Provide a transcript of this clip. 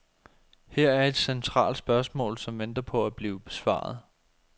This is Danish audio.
Her er et centralt spørgsmål, som venter på at blive besvaret.